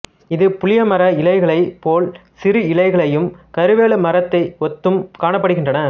இது புளியமர இலைகளைப் போல் சிறு இலைகளையும் கருவேலமரத்தை ஒத்தும் காணப்படுகின்றன